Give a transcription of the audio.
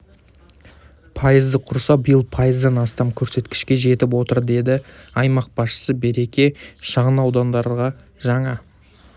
пайызды құраса биыл пайыздан астам көрсеткішке жетіп отыр деді аймақ басшысы береке шағын ауданындағы жаңа